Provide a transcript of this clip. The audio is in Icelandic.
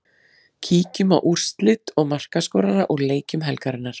Kíkjum á úrslit og markaskorara úr leikjum helgarinnar.